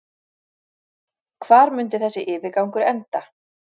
Hvar mundi þessi yfirgangur enda?